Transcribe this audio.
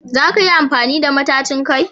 Za ka yi amfani da matacin kai?